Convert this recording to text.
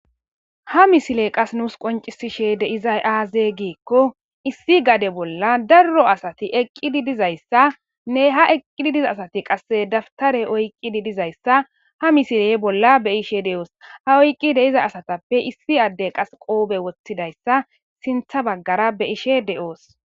ha misile qas nuus qoncisishe deizay aaze giikko issi gade bolla darro asati eqqidi dizayssa nne ha eqqidi diza asati qasse daftare oyqqidi dizayssa ha misile bolla be ishe de7oos ha oyqqi de iza asatappe issi adde qas qoobe woththidayssa sintha baggara beyishe de7oos